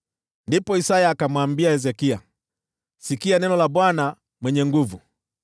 Ndipo Isaya akamwambia Hezekia, “Sikia neno la Bwana Mwenye Nguvu Zote: